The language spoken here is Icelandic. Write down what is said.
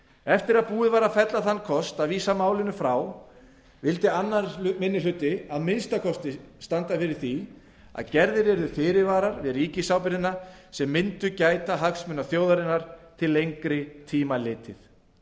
eftir að búið var að fella þann kost að vísa málinu frá vildi annar minni hluti að minnsta kosti standa að því að gerðir yrðu fyrirvarar við ríkisábyrgðina sem mundu gæta hagsmuna þjóðarinnar til lengri tíma litið